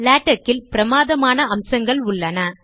LaTeX இல் பிரமாதமான அம்சங்கள் உள்ளன